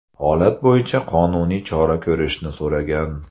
holat bo‘yicha qonuniy chora ko‘rishni so‘ragan.